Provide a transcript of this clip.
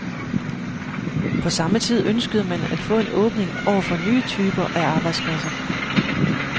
På samme tid ønskede man at få en åbning over for nye typer af arbejdspladser.